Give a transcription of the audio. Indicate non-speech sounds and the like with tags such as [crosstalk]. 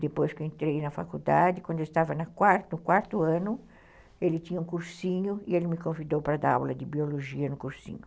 Depois que eu entrei na faculdade, quando eu estava [unintelligible] no quarto ano, ele tinha um cursinho e ele me convidou para dar aula de biologia no cursinho.